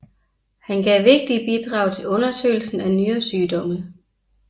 Han gav vigtige bidrag til undersøgelsen af nyresygdomme